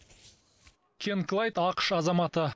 кен клайд ақш азаматы